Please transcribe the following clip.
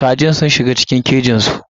Kajin sun shiga cikin kejinsu.